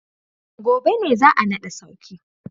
gobe ne za a nada sarki.